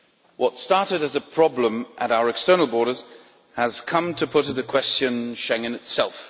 What started as a problem at our external borders has come to put into question Schengen itself.